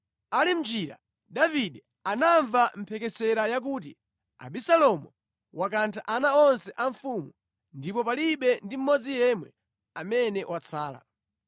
Ali mʼnjira, Davide anamva mphekesera yakuti, “Abisalomu wakantha ana onse a mfumu ndipo palibe ndi mmodzi yemwe amene watsala.”